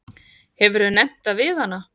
Hefurðu nefnt það við hana?